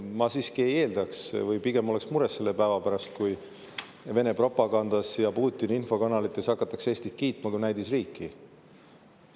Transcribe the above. Ma pigem oleks mures, kui Vene propagandas ja Putini infokanalites hakatakse Eestit kiitma kui näidisriiki.